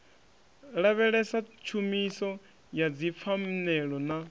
lavhelesa tshumiso ya dzipfanelo na